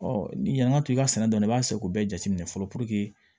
Ɔ ni yan ŋa to i ka sɛnɛ dɔn i b'a seko bɛɛ jateminɛ fɔlɔ puruke